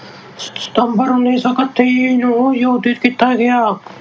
ਸਤੰਬਰ, ਉਨੀ ਸੌ ਇੱਕਤੀ ਨੂੰ ਆਯੋਜਿਤ ਕੀਤਾ ਗਿਆ।